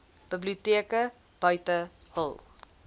biblioteke buite hul